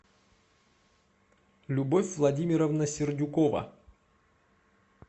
любовь владимировна сердюкова